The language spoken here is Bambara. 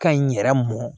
Ka ɲi yɛrɛ mɔn